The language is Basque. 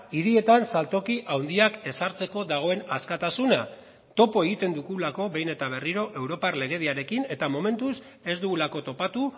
hirietan saltoki handiak ezartzeko dagoen askatasuna topo egiten dugulako behin eta berriro europar legediarekin eta momentuz ez dugulako topatu